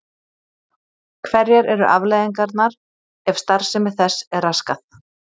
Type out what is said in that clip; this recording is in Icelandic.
hverjar eru afleiðingarnar ef starfsemi þess er raskað